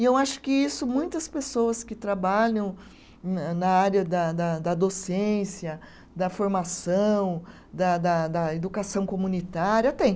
E eu acho que isso muitas pessoas que trabalham na na área da da da docência, da formação, da da da da educação comunitária têm.